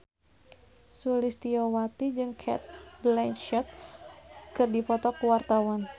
Sulistyowati jeung Cate Blanchett keur dipoto ku wartawan